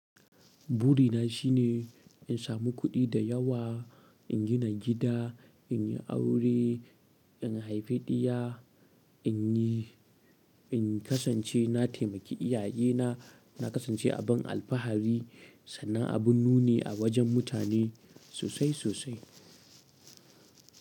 Burina shine in samu kuɗi da yawa, in gina gida, in yi aure, in haifi ɗiya, in yi, in kasance na taimaki iyayena, na kasance abin alfahari. Sannan abun nuni a wajen mutane sosai-sosai.